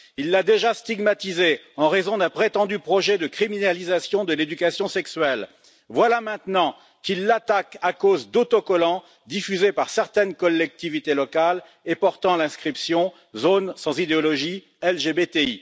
Il l'a déjà stigmatisée en raison d'un prétendu projet de criminalisation de l'éducation sexuelle, voilà maintenant qu'il l'attaque à cause d'autocollants diffusés par certaines collectivités locales et portant l'inscription zone sans idéologie LGBTI.